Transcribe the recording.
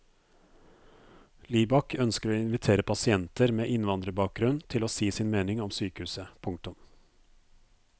Libak ønsker å invitere pasienter med innvandrerbakgrunn til å si sin mening om sykehuset. punktum